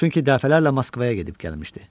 Çünki dəfələrlə Moskvaya gedib gəlmişdi.